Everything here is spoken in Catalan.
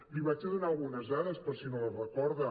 li donaré algunes dades per si no les recor·da